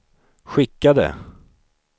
skickade